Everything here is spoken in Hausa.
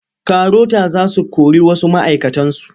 Karota za su kori wasu ma'aikatansu.